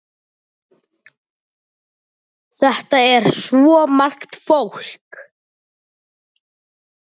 Þetta er svo margt fólk.